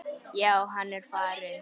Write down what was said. Já, hann er farinn